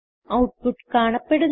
output കാണപ്പെടുന്നു